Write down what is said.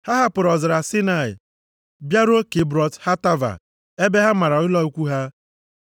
Ha hapụrụ ọzara Saịnaị bịaruo Kibrọt Hataava ebe ha mara ụlọ ikwu ha.